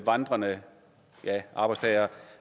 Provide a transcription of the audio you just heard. vandrende arbejdstagere